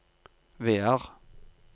Vear